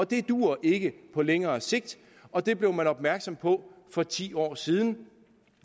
det duer ikke på længere sigt og det blev man opmærksom på for ti år siden